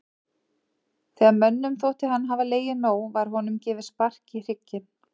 Þegar mönnum þótti hann hafa legið nóg var honum gefið spark í hrygginn.